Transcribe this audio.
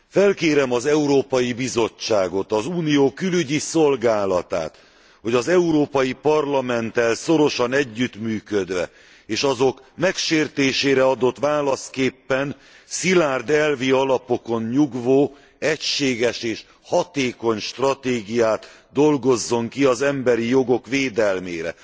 Felkérem az Európai Bizottságot, az Unió Külügyi Szolgálatát, hogy az Európai Parlamenttel szorosan együttműködve és azok megsértésére adott válaszképpen szilárd elvi alapokon nyugvó, egységes és hatékony stratégiát dolgozzon ki az emberi jogok védelmére.